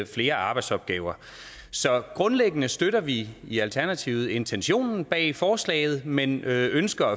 flere arbejdsopgaver så grundlæggende støtter vi i alternativet intentionen bag forslaget men ønsker